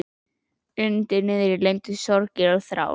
Undir niðri leyndust sorgir og þrár.